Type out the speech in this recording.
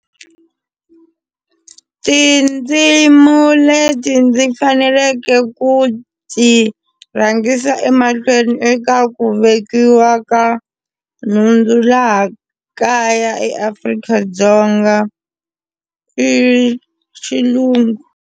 Tindzimu leti ndzi faneleke ku ti rhangisa emahlweni eka ku vekiwa ka nhundzu laha kaya eAfrika-Dzonga i Xilungu.